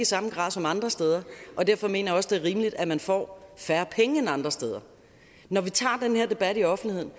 samme grad som andre steder og derfor mener jeg også det er rimeligt at man får færre penge end andre steder når vi tager den her debat i offentligheden